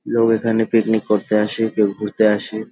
লোক এখানে পিকনিক করতে আসে কেউ ঘুরতে আসে।